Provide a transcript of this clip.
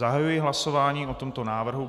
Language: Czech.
Zahajuji hlasování o tomto návrhu.